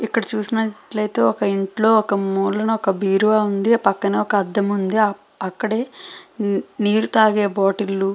ఇక్కడ చూసినట్లయితే ఇక్కడ ఇంట్లో మూలకి ఒక బీరువా వుంది. పక్కన ఒక అద్దం వుంది. అక్కడే నీరు తాగే బోటిల్లు --